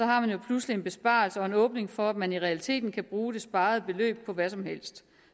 har man jo pludselig en besparelse og en åbning for at man i realiteten kan bruge det sparede beløb på hvad som helst